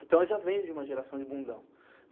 Então eu já venho de uma geração de bundão.